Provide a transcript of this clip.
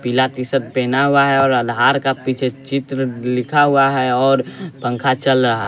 पीला तीसद पहना हुआ है और आधार का पीछे चित्र लिखा हुआ है और पंखा चल रहा --